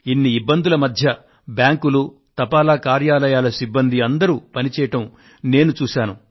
ఇన్ని ఇబ్బందుల మధ్య బ్యాంకులు తపాలా కార్యాలయాల సిబ్బంది అందరూ పని చేయడం నేను చూశాను